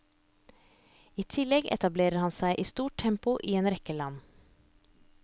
I tillegg etablerer han seg i stort tempo i en rekke land.